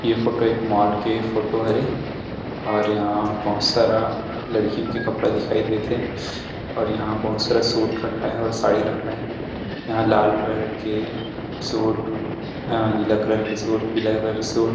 ये फोटो एक मॉल के फोटो हरे और यहाँ बहुत सारा लड़कियन के कपड़ा दिखाई देत थे और यहाँ बहुत सारा सूट रखाए हे और साड़ी रखाये हे यहाँ लाल कलर के सूट अ नीला कलर के सूट पीला कलर के सूट